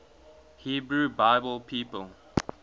hebrew bible people